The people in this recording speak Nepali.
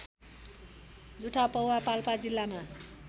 जुठापौवा पाल्पा जिल्लामा